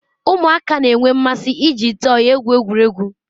Ụmụaka na-enwe mmasị iji tọyi egwu egwuregwu.